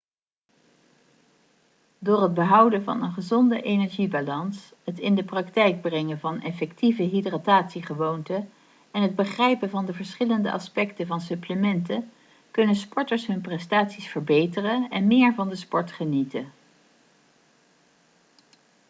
door het behouden van een gezonde energiebalans het in de praktijk brengen van effectieve hydratatiegewoonten en het begrijpen van de verschillende aspecten van supplementen kunnen sporters hun prestaties verbeteren en meer van de sport genieten